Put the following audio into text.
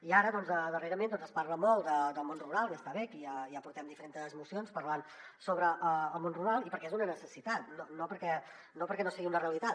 i ara doncs darrerament es parla molt del món rural i està bé que ja portem diferents mocions parlant sobre el món rural i perquè és una necessitat no perquè no sigui una realitat